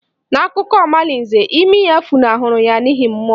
N'akụkọ omalinze, imi ya funahụrụ ya n'ihi mmụọ